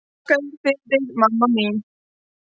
Þakka þér fyrir mig mamma mín.